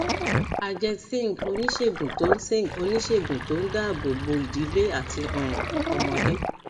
ajeet singh oníṣègùn tó singh oníṣègùn tó ń dáàbò bo ìdílé àti um ọmọdé